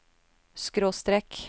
skråstrek